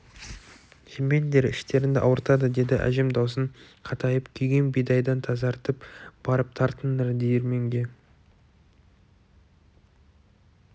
жемеңдер іштеріңді ауыртады деді әжем даусын қатайтып күйген бидайдан тазартып барып тартыңдар диірменге